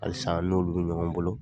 Halisa n'olu bi ɲɔgɔn bolo .